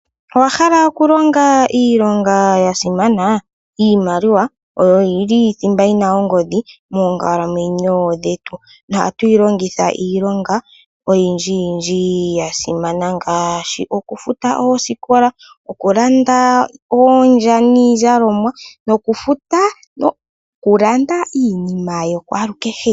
Owahala okulonga iilonga yasimana. Iimaliwa oyo yili thimba yina ongodhi, moonkalamwenyo dhetu, nohatu yi longitha iilonga oyindjiyindji ya simana. Ngaashi okulanda ondya